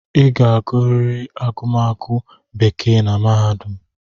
Ị ga-agụrịrị agụmagụ bekee na mahadum!